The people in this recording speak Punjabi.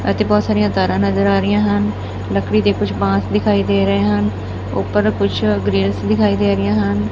ਇੱਥੇ ਬਹੁਤ ਸਾਰੀਆਂ ਤਾਰਾਂ ਨਜ਼ਰ ਆ ਰਹੀਆਂ ਹਨ ਲਕੜੀ ਦੇ ਕੁਝ ਬਾਂਸ ਦਿਖਾਈ ਦੇ ਰਹੇ ਹਨ ਉੱਪਰ ਕੁਛ ਗ੍ਰਿਲਸ ਦਿਖਾਈ ਦੇ ਰਹੀਆਂ ਹਨ।